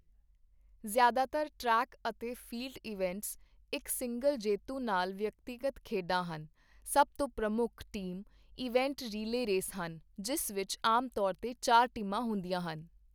ਜ਼ਿਆਦਾਤਰ ਟਰੈਕ ਅਤੇ field events ਇੱਕ ਸਿੰਗਲ ਜੇਤੂ ਨਾਲ ਵਿਅਕਤੀਗਤ ਖੇਡਾਂ ਹਨ, ਸਭ ਤੋਂ ਪ੍ਰਮੁੱਖ ਟੀਮ ਈਵੈਂਟ ਰੀਲੇਅ ਰੇਸ ਹਨ, ਜਿਸ ਵਿੱਚ ਆਮ ਤੌਰ 'ਤੇ ਚਾਰ ਟੀਮਾਂ ਹੁੰਦੀਆਂ ਹਨ।